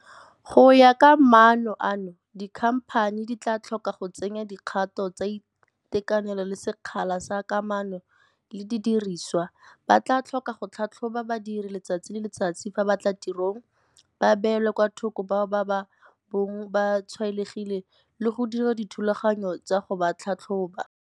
Go ya ka maano ano, dikhamphani di tla tlhoka go tsenya dikgato tsa itekanelo le sekgala sa kamano le didiriswa, ba tla tlhoka go tlhatlhoba badiri letsatsi le letsatsi fa ba tla tirong, ba beele kwa thoko bao ba ka bong ba tshwaetsegile le go dira dithulaganyo tsa go ba tlhatlhoba.